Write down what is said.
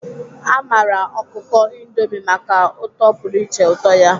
A maara ọkụkọ Indomi maka ụtọ pụrụ iche, ụtọ ya.